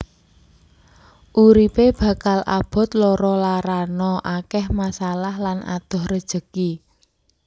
Uripe bakal abot lara larana akeh masalah lan adoh rejeki